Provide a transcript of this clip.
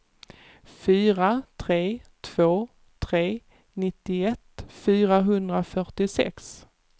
fyra tre två tre nittioett fyrahundrafyrtiosex